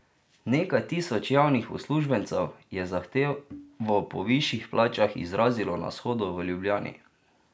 Nekaj tisoč javnih uslužbencev je zahtevo po višjih plačah izrazilo na shodu v Ljubljani.